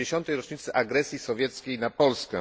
70. rocznicy agresji sowieckiej na Polskę.